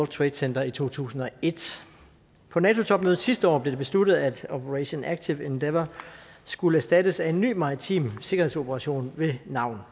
trade center i to tusind og et på nato topmødet sidste år blev det besluttet at operation active endeavour skulle erstattes af en ny maritim sikkerhedsoperation ved navn